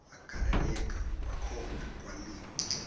agaleleka kwakhona kwaliwa